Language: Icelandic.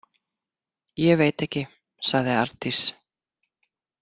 Ég veit ekki, sagði Arndís.